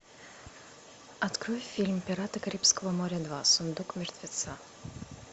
открой фильм пираты карибского моря два сундук мертвеца